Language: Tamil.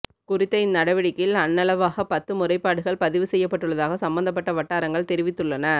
குறித்த இந் நடவடிக்கையில் அண்ணளவாக பத்து முறைப்பாடுகள் பதிவு செய்யப்பட்டுள்ளதாக சம்மந்தப்பட்ட வட்டாரங்கள் தெரிவித்துள்ளன